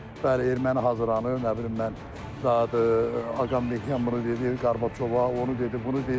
bəli, erməni hazırlanır, nə bilim mən da Ağameh buna dedi, Qarbaçova onu dedi, bunu dedi.